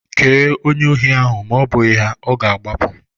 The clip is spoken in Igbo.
Kee onye ohi ahụ ma ọ bụghị ya, ọ ga-agbapụ